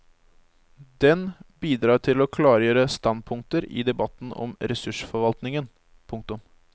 Den bidrar til å klargjøre standpunkter i debatten om ressursforvaltningen. punktum